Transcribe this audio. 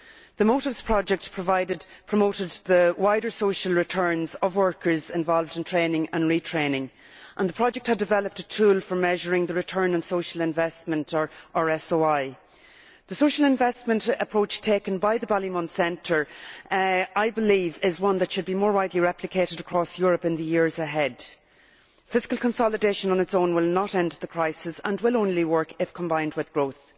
The Motives project promotes the wider social returns of workers involved in training and retraining, and the project has developed a tool for measuring the return on social investment or ROSI. The social investment approach taken by the Ballymun Centre is, I believe, one that should be more widely replicated across Europe in the years ahead. Fiscal consolidation on its own will not end the crisis and will only work if combined with growth.